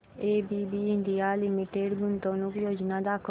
ABB India Limited गुंतवणूक योजना दाखव